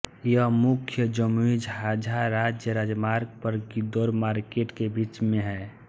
यह मुख्य जमुईझाझा राज्य राजमार्ग पर गिद्धौर मार्केट के बीच में है